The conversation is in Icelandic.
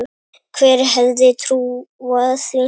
Hver hefði trúað því??